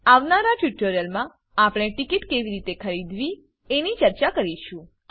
આવનારા ટ્યુટોરીયલમાં આપણે ટીકીટ કેવી રીતે ખરીદવી એની ચર્ચા કરીશું